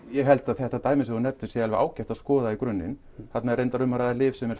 ég held að þetta dæmi sem þú nefnir sé alveg ágætt að skoða í grunninn þarna er reyndar lyf sem er